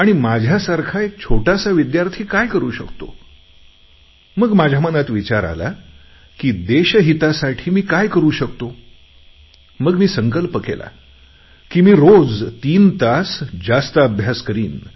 आणि माझ्यासारखा एक छोटासा विद्यार्थी काय करू शकतो मग माझ्या मनात विचार आला की देशहितासाठी मी काय करू शकतो मग मी संकल्प केला की मी रोज तीन तास जास्त अभ्यास करीन